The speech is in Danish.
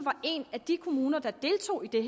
en af de kommuner der deltog i